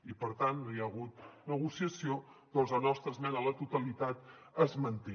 i per tant no hi ha hagut negociació doncs la nostra esmena a la totalitat es manté